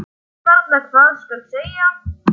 Ég veit varla hvað skal segja.